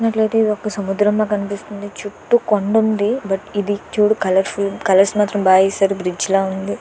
నాకైతే ఇదొక సముద్రంలా కనిపిస్తుంది చుట్టూ కొండుంది బట్ ఇది చూడు కలర్ఫుల్ కలర్స్ మాత్రం బాగేసారు బ్రిడ్జ్ లా ఉంది.